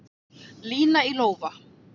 Lína í lófa